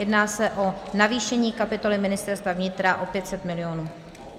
Jedná se o navýšení kapitoly Ministerstva vnitra o 500 milionů.